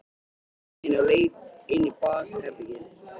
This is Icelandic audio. Ýtti við henni og leit inn í bakherbergið.